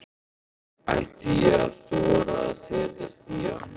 Ætti ég að þora að setjast í hann?